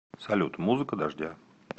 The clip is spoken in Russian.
салют музыка дождя